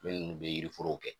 Minnu be yiriforow kɛ